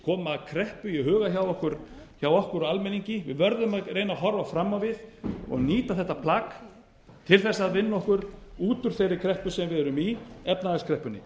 koma kreppu í huga hjá okkur almenningi við verðum að reyna að horfa fram á við og nýta þetta plagg til þess að vinna okkur út úr þeirri kreppu sem við erum í efnahagskreppunni